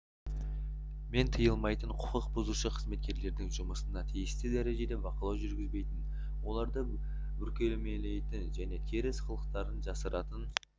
мен тыйылмайтын құқық бұзушы қызметкерлердің жұмысына тиісті дәрежеде бақылау жүргізбейтін оларды бүркемелейтін және теріс қылықтарын жасыратын